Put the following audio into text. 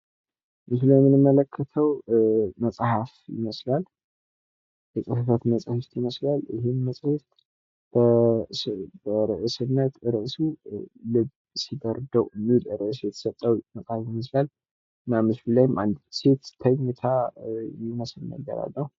የጽህፈት መሣሪያ ዕቃዎች በቢሮዎች፣ ትምህርት ቤቶች፣ ቤቶችና በሌሎችም የሥራና የትምህርት ቦታዎች አስፈላጊ ናቸው።